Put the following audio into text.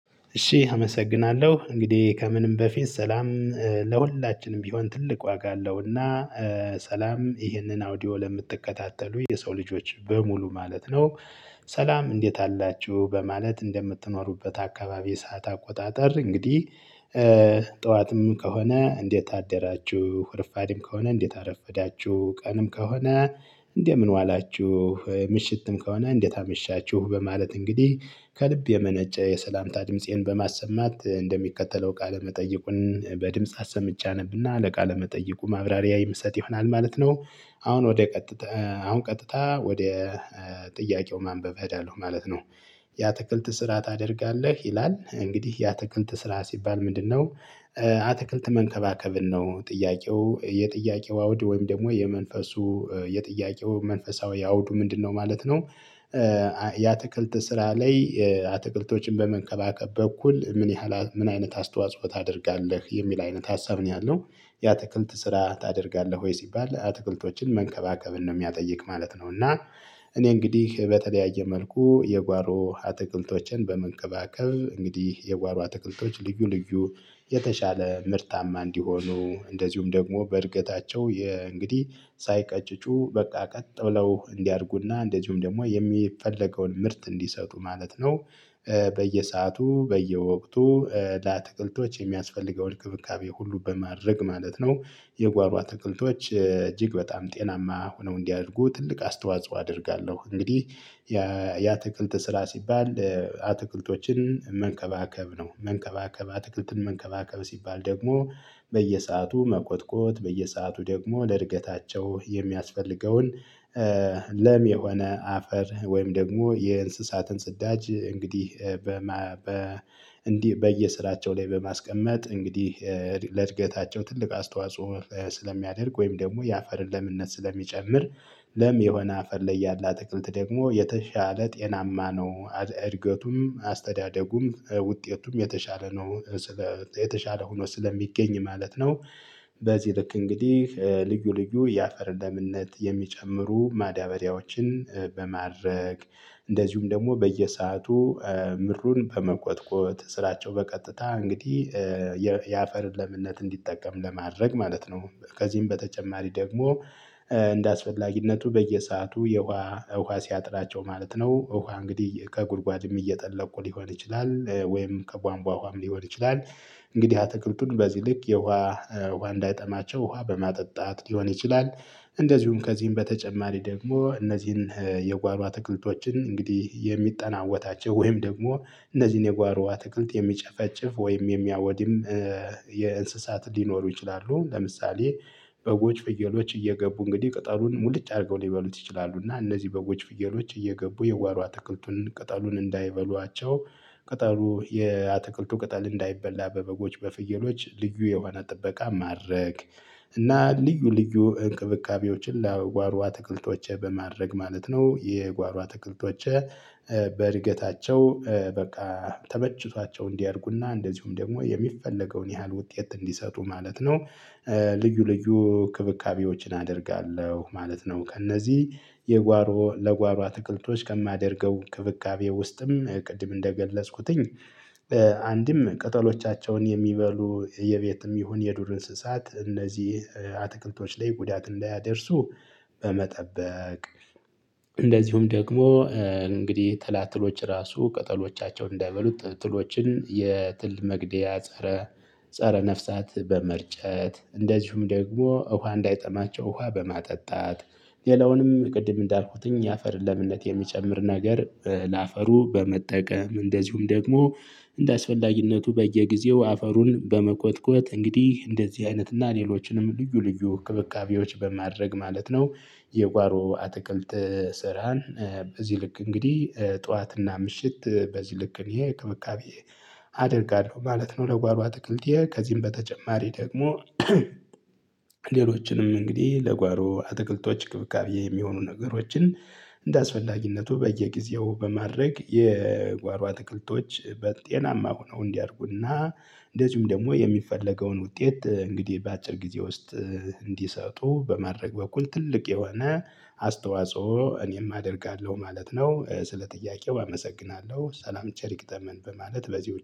እሺ አመሰግናለሁ። እንግዲህ ከምንም በፊት ሰላም ለሁላችንም ቢሆን ትልቅ ዋጋ አለው። እና ሰላም ይህንን አውዲዮ ለምትከታተሉ የሰው ልጆች በሙሉ ማለት ነው። ሰላም እንዴት አላችሁ? በማለት እንደምትኖሩበት አካባቢ የሰዓት አቆጣጠር እንግዲህ ጠዋትም ከሆነ እንዴት አደራችሁ? ረፋድም ከሆነ እንዴት አረፈዳችሁ? ቀንም ከሆነ እንደምን ዋላችሁ? ምሽትም ከሆነ እንዴት አመሻችሁ? በማለት እንግዲህ ከልብ የመነጨ የሰላምታ ድምፄን በማሰማት እንደሚከተለው ቃለ መጠይቁን በድምጽ አሰምቼ አነብና ቃለ መጠይቁ ማብራሪያ ይምሰጥ ይሆናል ማለት ነው። አሁን ወደ ቀጥታ ቀጥታ አሁን ቀጥታ ወደ ጥያቄው ማንበብ እያለሁ ማለት ነው። የአትክልት ስራ ታደርጋለህ? ይላል። እንግዲህ የአትክልት ስራ ሲባል ምንድ ነው? አትክልት መንከባከብን ነው ጥያቄው የጥያቄው አውድ ወይም ደግሞ የመንፈሱ የጥያቄው መንፈሳዊ አውዱ ምንድነው? ማለት ነው የአትክልት ስራ ላይ አትክልቶችን በመንከባከብ በኩል ምን ያህል ምን አይነት አስተዋጽኦ ታደርጋለህ? የሚል አይነት ሀሳብ ነው ያለው። የአትክልት ስራ ታደርጋለህ ወይ? ሲባል አትክልቶችን መንከባከብን ነው የሚያጠይቅ ማለት ነው። እና እኔ እንግዲህ በተለያየ መልኩ የጓሮ አትክልቶችን በመንከባከብ እንግዲህ የጓሮ አትክልቶች ልዩ ልዩ የተሻለ ምርታማ እንዲሆኑ እንደዚሁም ደግሞ በእድገታቸው እንግዲህ ሳይቀጭጩ በቃ ቀጥለው እንዲያድጉና እንደዚሁም ደግሞ የሚፈለገውን ምርት እንዲሰጡ ማለት ነው። በየሰአቱ በየወቅቱ ለአትክልቶች የሚያስፈልገውን እንክብካቤ ሁሉ በማድረግ ማለት ነው። የጓሮ አትክልቶች እጅግ በጣም ጤናማ ሆነው እንዲህ አድርጉ ትልቅ አስተዋጽኦ አደርጋለሁ። እንግዲህ የአትክልት ስራ ሲባል አትክልቶችን መንከባከብ ነው። መንከባከብ አትክልትን መንከባከብ ሲባል ደግሞ መኮትኮት። በየሰአቱ ደግሞ ለእድገታቸው የሚያስፈልገውን ለም የሆነ አፈር ወይም ደግሞ የእንስሳትን ጽዳጅ እንግዲህ በየስራቸው ላይ በማስቀመጥ እንግዲህ ለእድገታቸው ትልቅ አስተዋጽኦ ስለሚያደርግ ወይም ደግሞ የአፈርን ለምነት ስለሚጨምር ለም የሆነ አፈር ላይ ያለ አትክልት ደግሞ የተሻለ ጤናማ ነው። እድገቱም አስተዳደጉም ውጤቱም የተሻለ ነው። የተሻለ ሆኖ ስለሚገኝ ማለት ነው። በዚህ ልክ እንግዲህ ልዩ ልዩ የአፈር ለምነት የሚጨምሩ ማዳበሪያዎችን በማድረግ፣ እንደዚሁም ደግሞ በየሰአቱ ምድሩን በመኮትኮት ስራቸው በቀጥታ እንግዲህ የአፈር ለምነት እንዲጠቀም ለማድረግ ማለት ነው። ከዚህም በተጨማሪ ደግሞ እንደአስፈላጊነቱ በየሰአቱ የውሃ ውሃ ሲያጥራቸው ማለት ነው ውሃ እንግዲህ ከጉድጓድም እየጠለቁ ሊሆን ይችላል ወይም ከጓንቧ ውሃም ሊሆን ይችላል። እንግዲህ አትክልቱን በዚህ ልክ የውሃ ውሃ እንዳጠማቸው ውሃ በማጠጣት ሊሆን ይችላል። እንደዚሁም ከዚህም በተጨማሪ ደግሞ እነዚህን የጓሮ አትክልቶችን እንግዲህ የሚጠናወታቸው ወይም ደግሞ እነዚህን የጓሮ አትክልት የሚጨፈጭፍ ወይም የሚያወድም የእንስሳት ሊኖሩ ይችላሉ። ለምሳሌ በጎች፣ ፍየሎች እየገቡ እንግዲህ ቅጠሉን ሙሉጭ አድርገው ሊበሉት ይችላሉ። እና እነዚህ በጎች፣ ፍየሎች እየገቡ የጓሮ አትክልቱን ቅጠሉን እንዳይበሏቸው ቅጠሉ የአትክልቱ ቅጠል እንዳይበላ በበጎች፣ በፍየሎች ልዩ የሆነ ጥበቃ ማድረግ፣ እና ልዩ ልዩ እንክብካቤዎችን ለጓሮ አትክልቶቸ በማድረግ ማለት ነው የጓሮ አትክልቶቸ በእድገታቸው በቃ ተመችቷቸው እንዲያደርጉና እንደዚሁም ደግሞ የሚፈለገውን ያህል ውጤት እንዲሰጡ ማለት ነው። ልዩ ልዩ እንክብካቤዎችን አደርጋለሁ ማለት ነው። ከእነዚህ የጓሮ ለጓሯ አትክልቶች ከማደርገው እንክብካቤ ውስጥም ቅድም እንደገለጽኩትኝ አንድም ቅጠሎቻቸውን የሚበሉ የቤትም ይሁን የዱር እንስሳት እነዚህ አትክልቶች ላይ ጉዳት እንዳያደርሱ፣ በመጠበቅ እንደዚሁም ደግሞ እንግዲህ ትላትሎች ራሱ ቅጠሎቻቸውን እንዳይበሉት ጥሎችን የትል መግደያ ፀረ ፀረ ነፍሳት በመርጨት፣ እንደዚሁም ደግሞ እውሃ እንዳይጠማቸው እውሃ በማጠጣት ሌላውንም ቅድም እንዳልኩትኝ የአፈር ለምነት የሚጨምር ነገር ለአፈሩ በመጠቀም እንደዚሁም ደግሞ እንደአስፈላጊነቱ በየጊዜው አፈሩን በመኮትኮት እንግዲህ እንደዚህ አይነት እና ሌሎችንም ልዩ ልዩ እንክብካቤዎች በማድረግ ማለት ነው። የጓሮ አትክልት ስራን በዚህ ልክ እንግዲህ ጠዋትና ምሽት በዚህ ልክ እኔ እንክብካቤ አደርጋለሁ ማለት ነው። ለጓሮ አትክልቴ ከዚህም በተጨማሪ ደግሞ ሌሎችንም እንግዲህ ለጓሮ አትክልቶች እንክብካቤ የሚሆኑ ነገሮችን እንደአስፈላጊነቱ በየጊዜው በማድረግ የጓሮ አትክልቶች በጤናማ ሆነው እንዲያድጉ እና እንደዚሁም ደግሞ የሚፈለገውን ውጤት እንግዲህ በአጭር ጊዜ ውስጥ እንዲሰጡ በማድረግ በኩል ትልቅ የሆነ አስተዋጽኦ እኔም አደርጋለሁ ማለት ነው። ስለ ጥያቄው አመሰግናለሁ። ሰላም ቸር ይግጠመን በማለት በዚህ